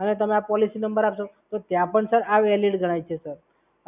અને તમારો policy number આપશો તો ત્યાં પણ સર આ વેલીડ ગણાય છે, સર,